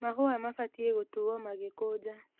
Mahũa mabatie gũtuo magĩkũja .